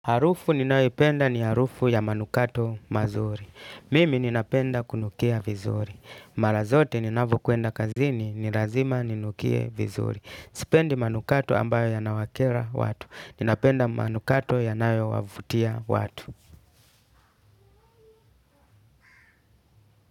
Harufu ninayoipenda ni harufu ya manukato mazuri. Mimi ninapenda kunukia vizuri. Mara zote ninavokwenda kazini, ni lazima ninukie vizuri. Sipendi manukato ambayo yanawakera watu. Ninapenda manukato yanayowavutia watu.